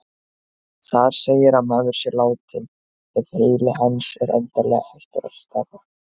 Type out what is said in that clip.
Þar segir að maður sé látinn ef heili hans er endanlega hættur að starfa.